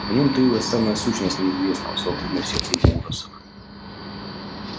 в ней таилась самая сущность неизвестного совокупность всех его ужасов